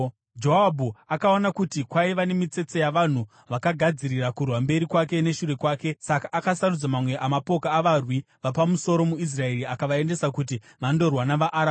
Joabhu akaona kuti kwaiva nemitsetse yavanhu vakagadzirira kurwa mberi kwake neshure kwake; saka akasarudza mamwe amapoka avarwi vapamusoro muIsraeri akavaendesa kuti vandorwa navaAramu.